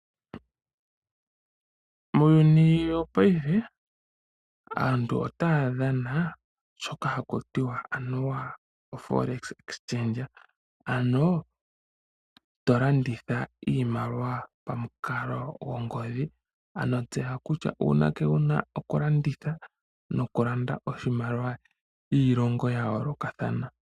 Muuyuni wopaife aantu ota ya dhana shoka ha ku tiwa anuwa oforex exchange, ano tolanditha iimaliwa pamukalo gwongodhi, ano tseya kutya uunake wu na oku landitha nokulanda oshimaliwa miilongo ya yoolokathana.